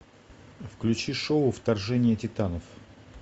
включи шоу вторжение титанов